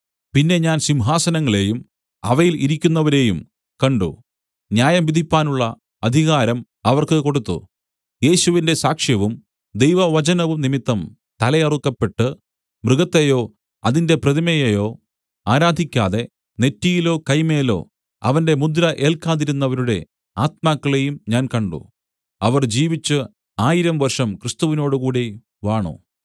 പിന്നെ ഞാൻ സിംഹാസനങ്ങളെയും അവയിൽ ഇരിക്കുന്നവരെയും കണ്ട് ന്യായം വിധിപ്പാനുള്ള അധികാരം അവർക്ക് കൊടുത്തു യേശുവിന്റെ സാക്ഷ്യവും ദൈവവചനവും നിമിത്തം തലയറുക്കപ്പെട്ട് മൃഗത്തെയോ അതിന്റെ പ്രതിമയെയോ ആരാധിക്കാതെ നെറ്റിയിലോ കൈമേലോ അവന്റെ മുദ്ര ഏൽക്കാതിരുന്നവരുടെ ആത്മാക്കളെയും ഞാൻ കണ്ട് അവർ ജീവിച്ചു ആയിരം വർഷം ക്രിസ്തുവിനോടുകൂടി വാണു